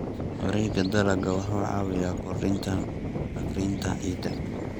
Wareegga dalagga wuxuu caawiyaa kordhinta bacrinta ciidda.